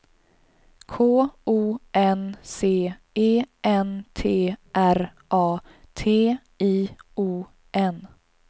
K O N C E N T R A T I O N